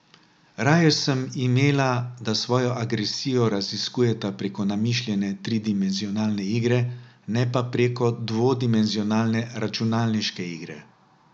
Raje sem imela, da svojo agresijo raziskujeta preko namišljene tridimenzionalne igre, ne pa preko dvodimenzionalne računalniške igre.